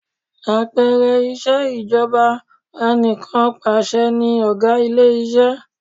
Àpẹẹrẹ ìṣejọba ànìkànpaṣẹ ni ọ̀gá ilé iṣẹ́.